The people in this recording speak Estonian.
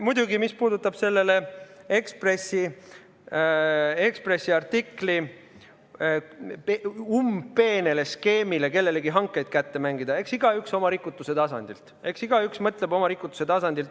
Muidugi, mis puudutab selle Ekspressi artikli udupeent skeemi kellelegi hankeid kätte mängida – eks igaüks mõtleb oma rikutuse tasandilt.